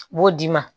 U b'o d'i ma